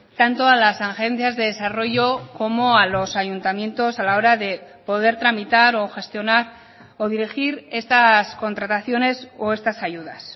tanto a las agencias de desarrollo como a los ayuntamientos a la hora de poder tramitar o gestionar o dirigir estas contrataciones o estas ayudas